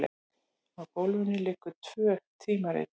Á gólfinu liggja tvö tímarit.